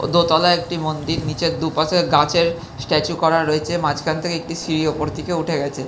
দোতালায় একটি মন্দির নিচের দুপাশে গাছের স্ট্যাচু করা রয়েছে মাঝখান থাকে একটি সিঁড়ি উপর দিকে উঠে গেছে।